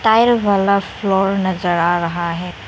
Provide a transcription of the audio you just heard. Tile वाला floor नजर आ रहा है।